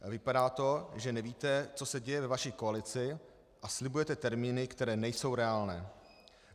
Vypadá to, že nevíte, co se děje ve vaší koalici, a slibujete termíny, které nejsou reálné.